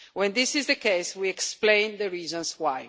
When this is the case, we explain the reasons why.